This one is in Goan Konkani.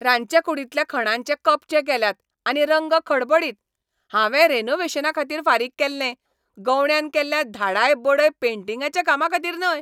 रांदचेकूडींतल्या खणांचे कपचे गेल्यात, आनी रंग खडबडीत. हांवें रॅनोव्हेशनाखातीर फारीक केल्लें, गवंड्यान केल्ल्या धाडाय बडय पेन्टींगाच्या कामाखातीर न्हय!